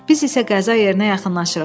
Biz isə qəza yerinə yaxınlaşırıq.